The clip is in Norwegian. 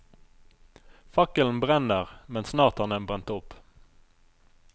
Fakkelen brenner, men snart har den brent opp.